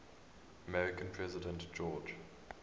american president george